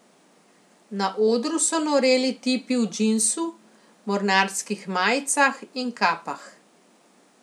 Na odru so noreli tipi v džinsu, mornarskih majicah in kapah.